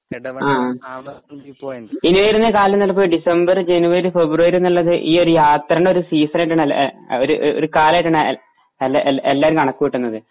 ഇനിയൊരു കാൽനടപ്പ് December, January, February എന്നുള്ളത് ഈ യത്രാന്റെ ഒരു സീസൺ ആയിട്ടാണ് എല്ല ഒരു ഒരു കാലായിട്ടാണ് എല്ലാ എല്ലാ എല്ലാരും കണക്കു കൂട്ടുന്നത്.